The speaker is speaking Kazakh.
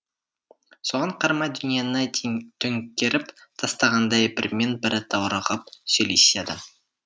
соған қарамай дүниені төңкеріп тастағандай бірімен бірі даурығып сөйлеседі